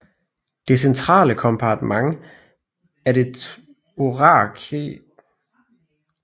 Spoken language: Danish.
Det centrale kompartment af det thorakale hulrum er mediastinum